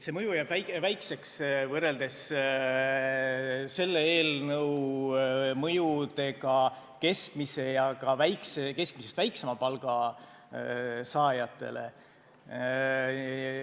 See mõju jääb väikeseks, võrreldes selle eelnõu mõjudega keskmise ja ka keskmisest väiksema palga saajatele.